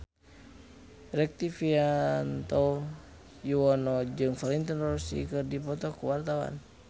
Rektivianto Yoewono jeung Valentino Rossi keur dipoto ku wartawan